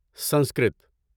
Sanskrit